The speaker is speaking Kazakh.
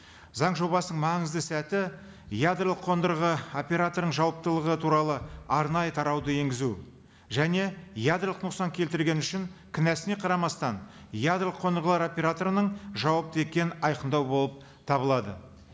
заң жобасының маңызды сәті ядролық қондырғы операторының жауаптылығы туралы арнайы тарауды енгізу және ядролық нұқсан келтірген үшін кінәсіне қарамастан ядролық қондырғылар операторының жауапты екенін айқындау болып табылады